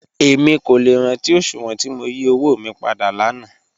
Èmi kò lẹ́ rántí oṣùwọn tí mó yí ọ̀wọ̀ mí pádà láńà